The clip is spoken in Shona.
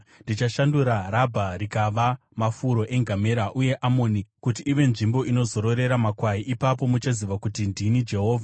Ndichashandura Rabha rikava mafuro engamera uye Amoni kuti ive nzvimbo inozororera makwai. Ipapo muchaziva kuti ndini Jehovha.